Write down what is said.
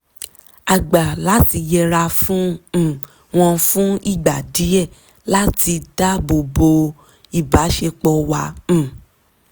a gbà láti yẹra fún um wọn fún ìgbà díẹ̀ láti dáábòbò ìbáṣepọ̀ wa um